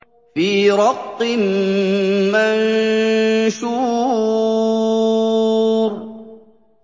فِي رَقٍّ مَّنشُورٍ